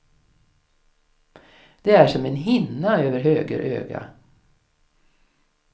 Det är som en hinna över höger öga.